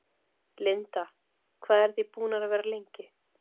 Linda: Hvað eruð þið búnir að vera lengi?